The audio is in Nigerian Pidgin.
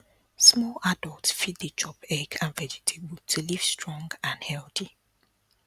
small adult fit dey chop egg and vegetable to live strong and and healthy